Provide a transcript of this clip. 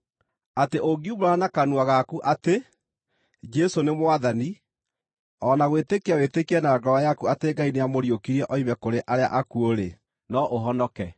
Atĩ ũngiumbũra na kanua gaku atĩ, “Jesũ nĩ Mwathani,” o na gwĩtĩkia wĩtĩkie na ngoro yaku atĩ Ngai nĩamũriũkirie oime kũrĩ arĩa akuũ-rĩ, no ũhonoke.